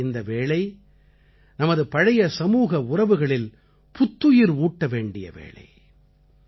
உள்ளபடியே இந்த வேளை நமது பழைய சமூக உறவுகளில் புத்துயிர் ஊட்ட வேண்டிய வேளை